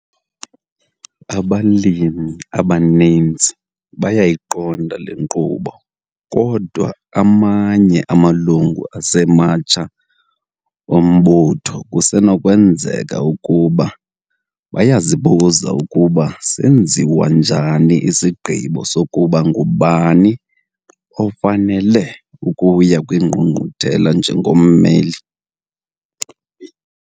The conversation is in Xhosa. Abalimi abaninzi bayayiqonda le nkqubo kodwa amanye amalungu asematsha ombutho kusenokwenzeka ukuba bayazibuza ukuba senziwa njani isigqibo sokuba ngubani ofanele ukuya kwiNgqungquthela njengommeli.